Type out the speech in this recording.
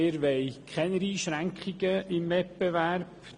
Wir wollen keine Einschränkungen im Wettbewerb.